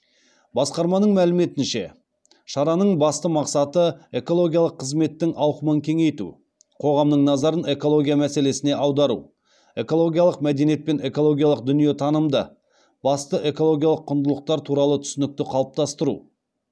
басқарманың мәліметінше шараның басты мақсаты экологиялық қызметтің ауқымын кеңейту қоғамның назарын экология мәселесіне аудару экологиялық мәдениет пен экологиялық дүниетанымды басты экологиялық құндылықтар туралы түсінікті қалыптастыру